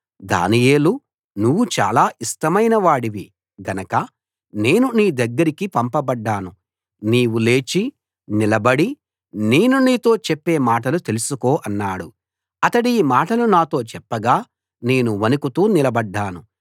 దానియేలూ నువ్వు చాలా ఇష్టమైన వాడివి గనక నేను నీ దగ్గరికి పంపబడ్డాను నీవు లేచి నిలబడి నేను నీతో చెప్పే మాటలు తెలుసుకో అన్నాడు అతడీ మాటలు నాతో చెప్పగా నేను వణకుతూ నిలబడ్డాను